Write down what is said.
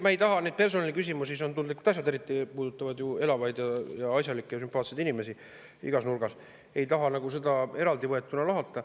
Ma ei taha neid personaliküsimusi – need on tundlikud asjad, mis puudutavad ju elavaid ja asjalikke ja sümpaatseid inimesi igas nurgas – nagu eraldi võetuna lahata.